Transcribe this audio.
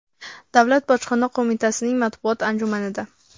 Davlat bojxona qo‘mitasining matbuot anjumanida.